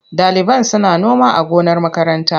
Ɗaliban suna noma a gonar makaranta.